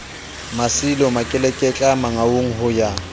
mmasilo makeleketla mangaung ho ya